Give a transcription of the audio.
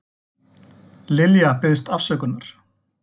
Lilja biðst afsökunar